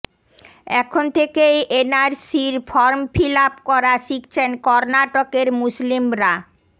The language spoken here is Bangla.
এখন থেকেই এনআরসির ফর্ম ফিল আপ করা শিখছেন কর্নাটকের মুসলিমরা